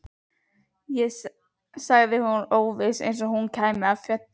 sagði hún óviss, eins og hún kæmi af fjöllum.